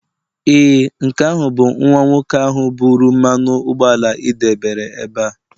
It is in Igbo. ee, nke ahụ bụ nwa nwoke ahụ buru mmanụ ụgbọala ị debere ebe a